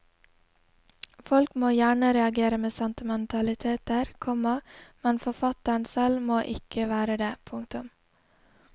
Folk må gjerne reagere med sentimentaliteter, komma men forfatteren selv må ikke være det. punktum